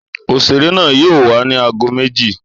Òṣèré náà yóò wá ni aago méjì